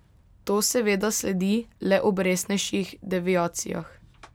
To seveda sledi le ob resnejših deviacijah.